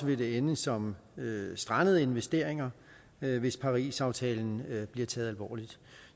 det vil ende som strandede investeringer hvis parisaftalen bliver taget alvorligt